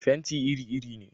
Fenti iri iri ne.